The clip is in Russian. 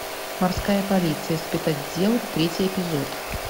морская полиция спецотдел третий эпизод